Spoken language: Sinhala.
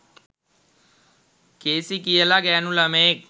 කේසි කියලා ගෑනු ලමයෙක්